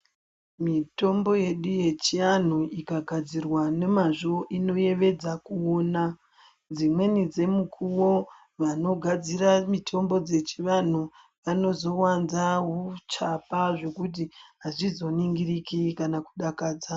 Mitombo yedu yechiantu ikagadzirwa nemazvo inopedza kuona dzimweni dzemukuwo vanigadzira mitombo dzechivantu vanozowanza huchapa zvekuti azvizoningiriki kana kudakadza.